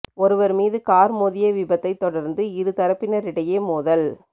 ஒருவர் மீது கார் மோதிய விபத்தைத் தொடர்ந்து இரு தரப்பினரிடையே மோதல்